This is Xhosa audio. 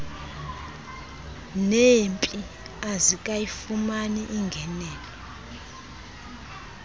neeemp azikayifumani ingenelo